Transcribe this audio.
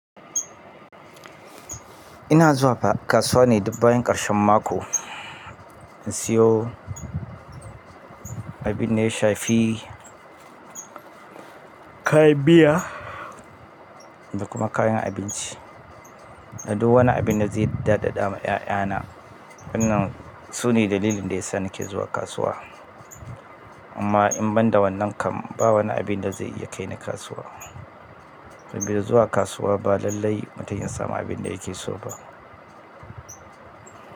Ina zuwa kasuwa ne dukbbayan ƙarshen mako in siyo abin da ya shafi kayan miya da kuma kayan abinci. Da duk wani abin da zai daɗaɗa ma 'ya'yana wannan su ne dalilin da ya sa nake zuwa kasuwa. Amma in ban da wannan kam ba wani abin da zai iya kai ni kasuwa. Saboda zuwa kasuwa ba lallai mutum ya samu abin da yake so ba.